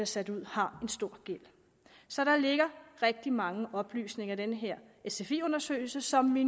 sat ud har en stor gæld så der ligger rigtig mange oplysninger i den her sfi undersøgelse som vi